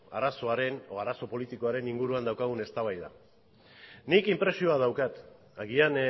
arazoaren edo arazo politikoaren inguruan daukagun eztabaida nik inpresioa daukat agian